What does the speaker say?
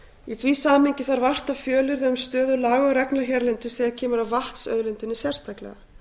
í því samhengi þarf vart að fjölyrða um stöðu laga og reglna hérlendis þegar kemur að vatnsauðlindinni sérstaklega